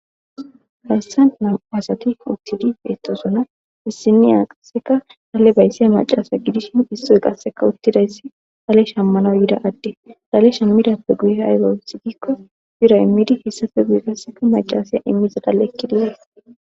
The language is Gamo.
Hayssa nam asati uttidi beettosuna bissiniya qasseka hale bayssiya macasa gidishin issoy qasseka uttidayssi hale shammana yida adde dalesha midappe guye haygosigikko bira immidi hissafe guye qasseka macasaya immiza dalekkidiyees.